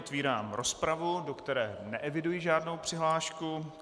Otvírám rozpravu, do které neeviduji žádnou přihlášku.